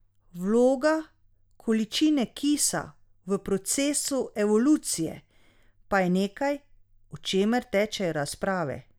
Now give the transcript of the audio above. Vloga količine kisika v procesu evolucije pa je nekaj, o čemer tečejo razprave.